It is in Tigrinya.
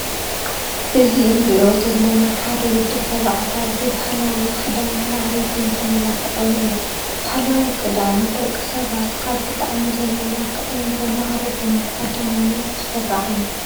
እዚ እንርእዮ ዘለና ሓደ ወዲ ተባዕታይ ብባህላው ክዳን ማዕሪጉን ተመላኪዑን እዩ። ባህላዊ ክዳን ን ደቂ ሰባት ካብ ብጣዕሚ ዘመላክዕን ዘማዕርግን ብቀዳምነት ዝስራዕ እዩ።